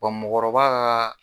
mɔgɔkɔrɔba ka